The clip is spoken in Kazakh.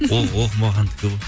ол оқымағандікі ғой